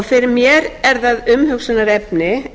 fyrir mér er það umhugsunarefni